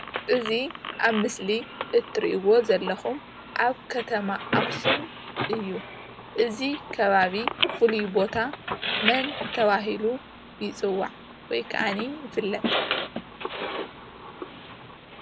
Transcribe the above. እዚ አብ ምስሊ እትሪኢዎ ዘለኩም አብ ከተማ አክሱም እዩ፡፡ እዚ ከባቢ ፉሉይ ቦታ መን ተባሂሉ ይፅዋዕ? ወይ ከዓኒ ይፍለጥ?